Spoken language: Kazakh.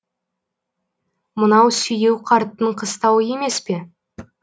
мынау сүйеу қарттың қыстауы емес пе